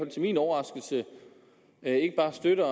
til min overraskelse ikke bare støtter